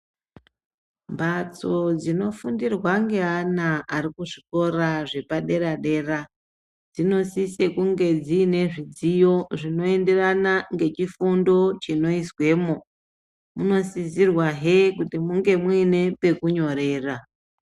Mbatso dzinofundirwa ngeana arikuzvikora zvepadera dera dzinosise kunge dziine zvidziyo zvinoenderana ngechifundo chinoizwemo munosisirwehe kuti munge muine pekunyorera.